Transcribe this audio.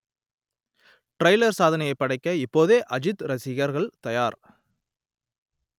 trailer சாதனைப் படைக்க இப்போதே அஜித் ரசிகர்கள் தயார்